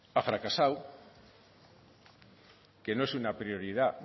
ha fracasado que no es una prioridad